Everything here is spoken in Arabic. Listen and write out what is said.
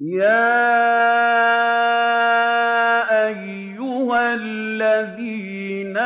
يَا أَيُّهَا الَّذِينَ